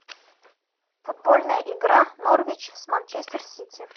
футбольная игра норвич с манчестер сити